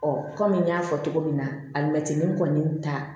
kɔmi n y'a fɔ cogo min na alimɛtini kɔni ta